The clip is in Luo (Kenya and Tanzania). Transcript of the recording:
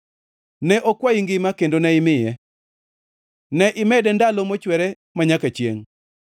Ne okwayi ngima kendo ne imiye; ne imede ndalo mochwere manyaka chiengʼ.